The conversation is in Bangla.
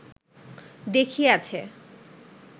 দেখিয়াছে